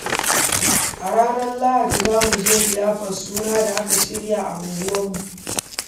A ranar lahadi, za mu je liyafar suna da aka shirya a unguwa.